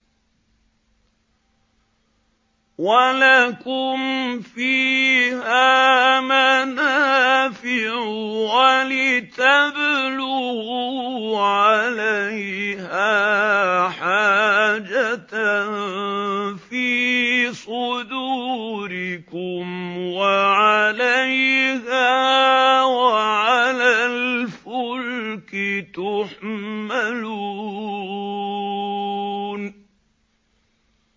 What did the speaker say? وَلَكُمْ فِيهَا مَنَافِعُ وَلِتَبْلُغُوا عَلَيْهَا حَاجَةً فِي صُدُورِكُمْ وَعَلَيْهَا وَعَلَى الْفُلْكِ تُحْمَلُونَ